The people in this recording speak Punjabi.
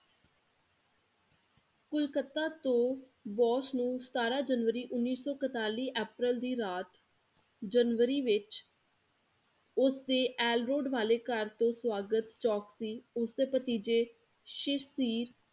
ਕਲਕੱਤਾ ਤੋਂ ਬੋਸ ਨੂੰ ਸਤਾਰਾਂ ਜਨਵਰੀ ਉੱਨੀ ਸੌ ਇੱਕਤਾਲੀ ਅਪ੍ਰੈਲ ਦੀ ਰਾਤ, ਜਨਵਰੀ ਵਿੱਚ ਉਸ ਦੇ ਅਹਿਲ road ਵਾਲੇ ਘਰ ਤੋਂ ਸਵਾਗਤ ਚੋਂਕ ਸੀ, ਉਸ ਦੇ ਭਤੀਜੇ ਸ਼ਿਰਸੀਰ